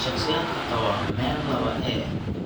Shakhsiyaadka qaba MEN lawa A